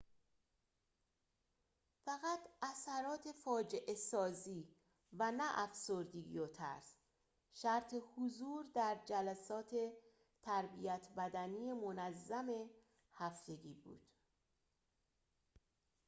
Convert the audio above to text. فقط اثرات فاجعه‌سازی و نه افسردگی و ترس شرط حضور در جلسات تربیت بدنی منظم هفتگی بود